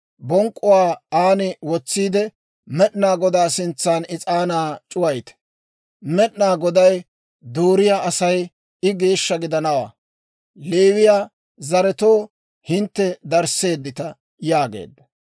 bonk'k'uwaa aan wotsiide, Med'inaa Godaa sintsan is'aanaa c'uwayite. Med'inaa Goday dooriyaa asay, I geeshsha gidanawaa. Leewiyaa zaretoo, hintte darisseeddita» yaageedda.